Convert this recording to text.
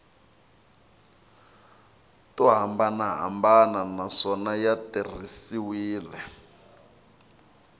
to hambanahambana naswona ya tirhisiwile